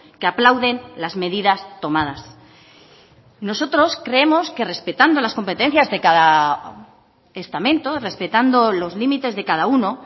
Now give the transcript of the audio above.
que aplauden las medidas tomadas nosotros creemos que respetando las competencias de cada estamento respetando los límites de cada uno